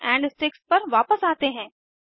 balls and sticks पर वापस आते हैं